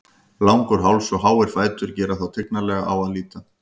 Langur háls og háir fætur gera þá tignarlega á að líta.